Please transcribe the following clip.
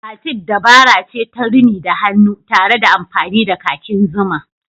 Batik dabara ce ta rini da hannu tare da amfani da kakin zuma.